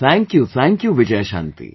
Thank you, Thank you Vijayashanti